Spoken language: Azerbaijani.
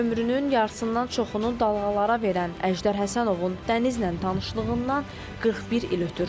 Ömrünün yarısından çoxunu dalğalara verən Əjdər Həsənovun dənizlə tanışlığından 41 il ötür.